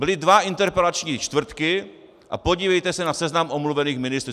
Byly dva interpelační čtvrtky - a podívejte se na seznam omluvených ministrů!